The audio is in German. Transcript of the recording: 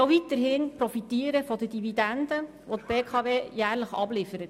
Wir wollen auch weiterhin von der Dividende profitieren, die die BKW jährlich abliefert.